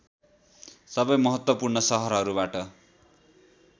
सबै महत्त्वपूर्ण सहरहरूबाट